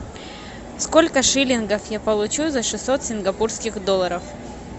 сколько шиллингов я получу за шестьсот сингапурских долларов